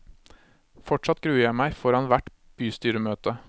Fortsatt gruer jeg meg foran hvert bystyremøte.